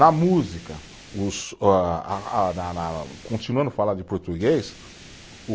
Na música os a a na na, continuando a falar de português, o